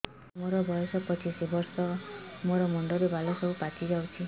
ସାର ମୋର ବୟସ ପଚିଶି ବର୍ଷ ମୋ ମୁଣ୍ଡରେ ବାଳ ସବୁ ପାଚି ଯାଉଛି